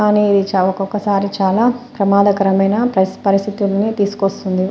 అనిరి చావకొకసారి చాలా ప్రమాదకరమైన పరిస్థితిని తీసుకొస్తుంది.